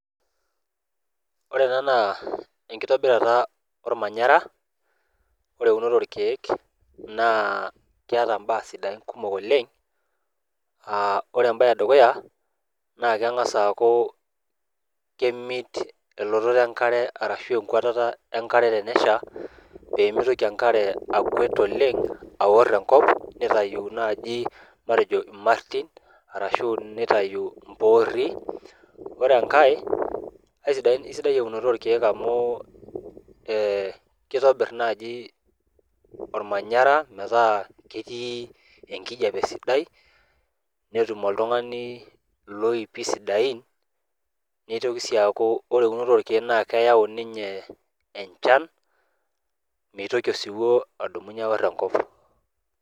Ore ena naa enkitobirata ormanyara naa ore eunoto orkieek naa keeta imbaa kumok sidain oleng , aa ore embae edukuya naa kengas aaku kemit enkwatata enkare ashu elototo enkare tenesha pemitoki enkare akwet oleng aor enkop nitayu naji matejo irmartin arashu nitayu impoori .Ore enkae aisidai eunoto orkiek amu ee kitobir naji ormanyara metaa ketii enkijape sidai , netum oltungani iloipi sidain nitoki sii aku eunoto orkiek naa keyau ninye enchan , mitoki osiwuo adumunye aor enkop.